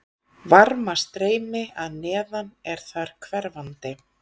Varmastreymi að neðan er þar hverfandi.